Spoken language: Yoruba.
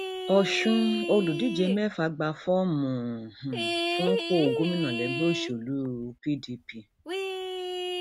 ọṣùn olùdíje mẹfà gba fọọmù um fúnpọ gómìnà lẹgbẹ òṣèlú um pdp